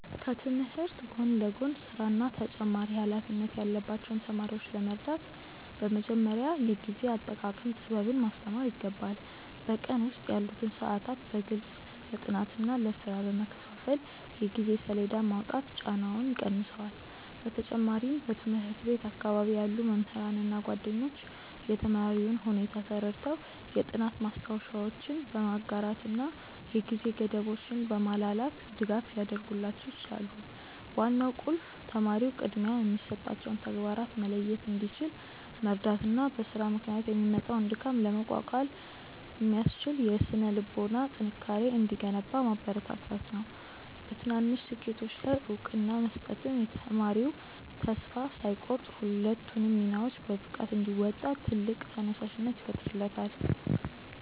ከትምህርት ጎን ለጎን ሥራና ተጨማሪ ኃላፊነት ያለባቸውን ተማሪዎች ለመርዳት በመጀመሪያ የጊዜ አጠቃቀም ጥበብን ማስተማር ይገባል። በቀን ውስጥ ያሉትን ሰዓታት በግልጽ ለጥናትና ለሥራ በመከፋፈል የጊዜ ሰሌዳ ማውጣት ጫናውን ይቀንሰዋል። በተጨማሪም በትምህርት ቤት አካባቢ ያሉ መምህራንና ጓደኞች የተማሪውን ሁኔታ ተረድተው የጥናት ማስታወሻዎችን በማጋራትና የጊዜ ገደቦችን በማላላት ድጋፍ ሊያደርጉላቸው ይችላሉ። ዋናው ቁልፍ ተማሪው ቅድሚያ የሚሰጣቸውን ተግባራት መለየት እንዲችል መርዳትና በሥራ ምክንያት የሚመጣውን ድካም ለመቋቋም የሚያስችል የሥነ-ልቦና ጥንካሬ እንዲገነባ ማበረታታት ነው። በትናንሽ ስኬቶች ላይ እውቅና መስጠትም ተማሪው ተስፋ ሳይቆርጥ ሁለቱንም ሚናዎች በብቃት እንዲወጣ ትልቅ ተነሳሽነት ይፈጥርለታል።